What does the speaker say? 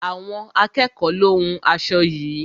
Àwọn akẹ́ẹ̀kọ lo hún aṣo yií.